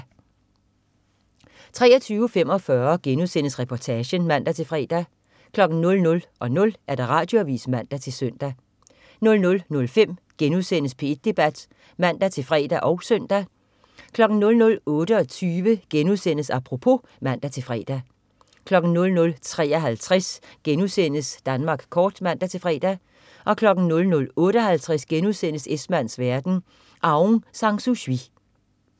23.45 Reportagen* (man-fre) 00.00 Radioavis (man-søn) 00.05 P1 Debat* (man-fre og søn) 00.28 Apropos* (man-fre) 00.53 Danmark kort* (man-fre) 00.58 Esmanns verden.* Aung San Suu Kyi